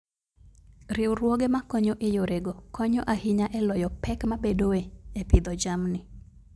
Riwruoge makonyo e yorego konyo ahinya e loyo pek mabedoe e pidho jamni.